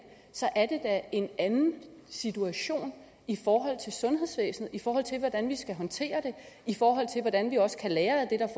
er en anden situation i forhold til sundhedsvæsenet i forhold til hvordan vi skal håndtere det i forhold til hvordan vi også kan lære af